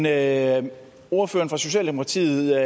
af er men ordføreren for socialdemokratiet